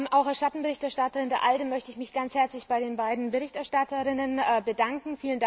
Auch als Schattenberichterstatterin der ALDE möchte ich mich ganz herzlich bei den beiden Berichterstatterinnen bedanken.